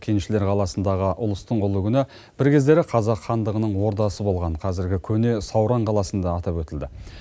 кеншілер қаласындағы ұлыстың ұлы күні бір кездері қазақ хандығының ордасы болған қазіргі көне сауран қаласында атап өтілді